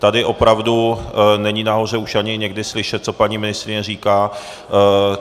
Tady opravdu není nahoře už ani někdy slyšet, co paní ministryně říká.